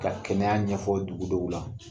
Ka kɛnɛya ɲɛfɔ dugudɔw la